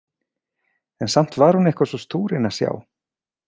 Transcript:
En samt var hún eitthvað svo stúrin að sjá.